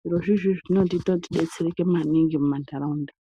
Zviro zvizvi zvinotiita tidetsereke maningi mumanharaunda.